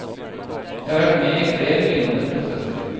Jeg har vært med i flere lignende prosesser.